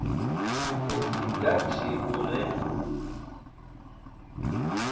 u si gathi u re